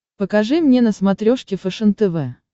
покажи мне на смотрешке фэшен тв